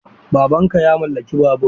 Baban ka ya mallaki babur?